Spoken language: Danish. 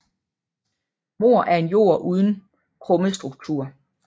Morr er en jord uden krummestruktur